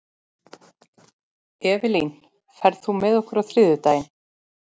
Evelyn, ferð þú með okkur á þriðjudaginn?